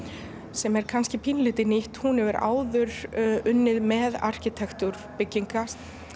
sem er kannski pínulítið nýtt hún hefur áður unnið með arkitektúr bygginga